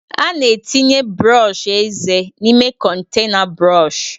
A na-etinye brọsh eze n'ime kontaịna brọsh.